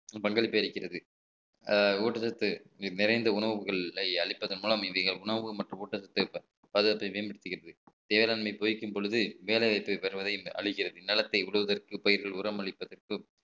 பங்களிப்பு இருக்கிறது அஹ் ஊட்டச்சத்து நிறைந்த உணவுகள் அளிப்பதன் மூலம் இன்னைய உணவு மற்றும் ஊட்டச்சத்து பாதுகாப்பை மேம்படுத்துகிறது வேளாண்மை பொய்க்கும் பொழுது வேலை வாய்ப்பை பெறுவதை அழிகிறது நிலத்தை உழுவதற்கு பயிர்கள் உரம் அளிப்பதற்கும்